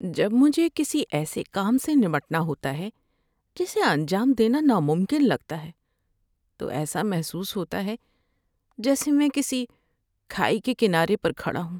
جب مجھے کسی ایسے کام سے نمٹنا ہوتا ہے جسے انجام دینا ناممکن لگتا ہے تو ایسا محسوس ہوتا ہے جیسے میں کسی کھائی کے کنارے پر کھڑا ہوں۔